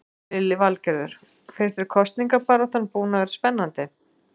Lillý Valgerður: Finnst þér kosningabaráttan búin að vera spennandi?